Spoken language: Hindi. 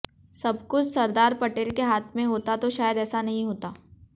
सबकुछ सरदार पटेल के हाथ में होता तो शायद ऐसा नहीं होता